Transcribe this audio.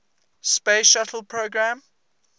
space shuttle program